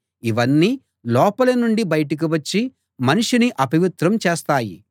ఇవన్నీ లోపలి నుండి బయటకు వచ్చి మనిషిని అపవిత్రం చేస్తాయి